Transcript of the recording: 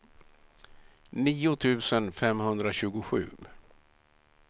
nio tusen femhundratjugosju